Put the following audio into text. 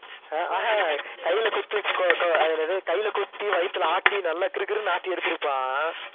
ஆஹ் ஹம் கையில குத்தி கொ~ கொ~ அது என்னது கையில குத்தி, வயித்துல ஆட்டி, நல்லா கிறுகிறுன்னு ஆட்டி எடுத்திருப்பான்.